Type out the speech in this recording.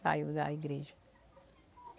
Saiu da igreja.